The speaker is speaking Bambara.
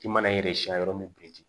I mana yɛrɛ siɲɛ yɔrɔ min biriki